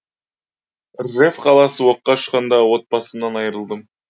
ржев қаласы оққа ұшқанда отбасымнан айырылдым